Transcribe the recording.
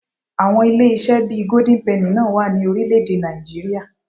Àwọn ilé-iṣẹ́ bí i Golden penny náà wà ní orílẹ̀-èdè Nàìjííríà